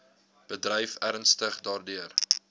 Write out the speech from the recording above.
bedryf ernstig daardeur